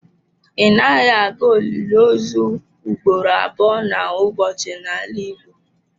Ị naghị aga olili ozu ugboro abụọ n'ụbọchị n'ala Igbo.